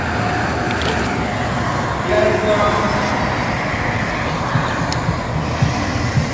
вязьма